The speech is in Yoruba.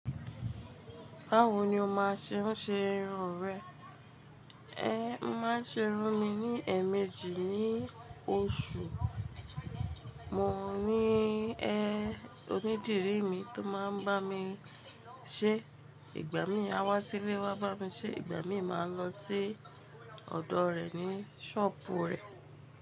Báwo ni o máa ṣe ń ṣe irun rẹ? Ẹ máa ń ṣe irun mi ní ẹ̀ẹ̀mejì ní oṣù. Mo ní ẹ onídìrí mi tó máa ń bá mi ṣe. Ìgbà mí aa wá sílé wá bá mi ṣe, ìgbà mi máa lọ sí ọ̀dọ̀ rẹ̀ ní ṣọ́ọ̀bù rẹ̀.